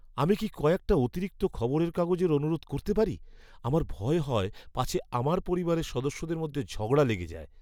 আমি কি কয়েকটা অতিরিক্ত খবরের কাগজের অনুরোধ করতে পারি? আমার ভয় হয় পাছে আমার পরিবারের সদস্যদের মধ্যে ঝগড়া লেগে যায়!